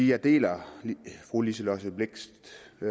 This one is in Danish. jeg deler fru liselott blixt